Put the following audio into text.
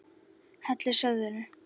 Hellið soðinu.